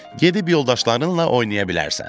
Gedib yoldaşlarınla oynaya bilərsən.